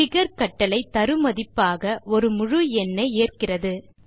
figure கட்டளை தரு மதிப்பாக ஒரு முழு எண்ணை ஏற்கிறது